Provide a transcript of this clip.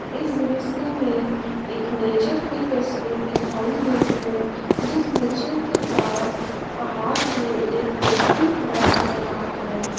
इस दृश्य में एक नेचर की तस्वीर दिखाई गई है जिस नेचर के पास पहाड़ पे एक व्यक्ति खड़ा दिख रहा है।